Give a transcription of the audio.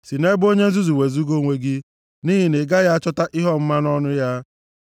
Si nʼebe onye nzuzu wezuga onwe gị, nʼihi na ị gaghị achọta ihe ọmụma nʼọnụ ya.